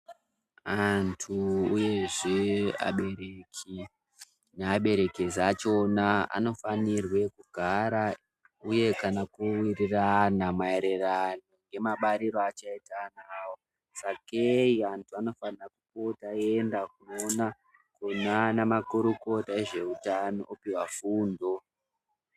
Antu uyezve abereki neaberekesi achona anofanirwe kugara uye ana kuwirirana maererano nemabarire achaita ana awo sakei vantu vanofana kupota veienda kunoona kunana makurukota ezveutano opuhwa fundo.